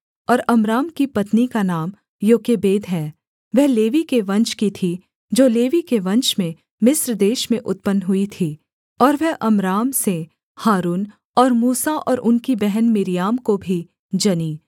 और अम्राम की पत्नी का नाम योकेबेद है वह लेवी के वंश की थी जो लेवी के वंश में मिस्र देश में उत्पन्न हुई थी और वह अम्राम से हारून और मूसा और उनकी बहन मिर्याम को भी जनी